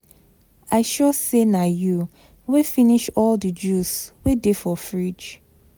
I sure say na you wey finish all the juice wey dey for fridge